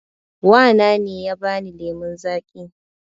Wa na ne ya ba ni lemon zaƙi